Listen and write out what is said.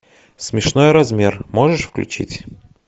смешной размер можешь включить